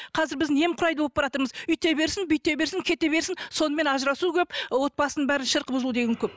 қазір біз немқұрайлы болып баратырмыз өйте берсін бүйте берсін кете берсін сонымен ажырасу көп отбасының бәрін шырқы бұзу деген көп